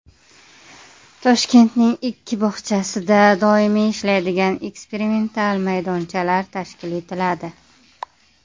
Toshkentning ikki bog‘chasida doimiy ishlaydigan eksperimental maydonchalar tashkil etiladi.